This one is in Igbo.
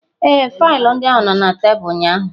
Ee, faịlụ ndị ahụ nọ na tebụl ụnyaahụ.